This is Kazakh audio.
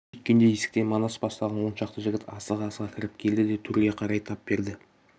сүйткенде есіктен манас бастаған он шақты жігіт асыға-асыға кіріп келді де төрге қарай тап берді